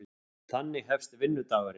Þannig hefst vinnudagurinn.